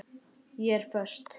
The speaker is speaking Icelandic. Ég er föst.